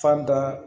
Fan da